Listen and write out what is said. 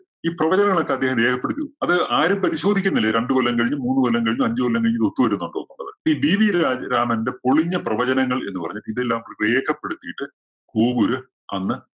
ഈ പ്രവചനങ്ങൾ ഒക്കെ അദ്ദേഹം രേഖപ്പെടുത്തി വയ്ക്കും. അത് ആരും പരിശോധിക്കുന്നില്ല. രണ്ടുകൊല്ലം കഴിഞ്ഞ്, മൂന്നുകൊല്ലം കഴിഞ്ഞ്, അഞ്ചുകൊല്ലം കഴിഞ്ഞ് ഇത് ഒത്തു വരുന്നുണ്ടോ എന്നുള്ളത്. ഈ GV രാ~രാമന്റെ പൊളിഞ്ഞ പ്രവചനങ്ങൾ എന്നു പറഞ്ഞിട്ട് ഇതെല്ലാം കൂടി വേഗപ്പെടുത്തിയിട്ട് കോവൂര് അന്ന്